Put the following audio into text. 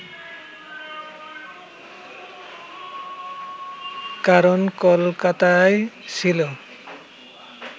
কারণ কলকাতাই ছিল